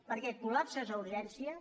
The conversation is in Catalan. perquè col·lapses a urgències